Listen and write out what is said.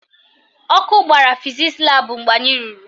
Ọkụ gbara fizisi laabụ mgbe anyị ruru